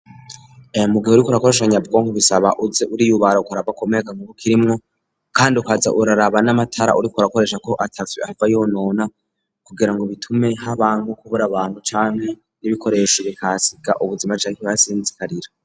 Mugihe uriko urakoresha nyabwonko bisaba uze uriyubara ukarabako amamega akirimwo kandi ukaza uraraba n'amatara uriko rakoresha ko ataco ahava yonona kugira ngo bitume haba nko kubura abantu canke n'ibikoresha ire kasiga ubuzima bikaha sinzikarira.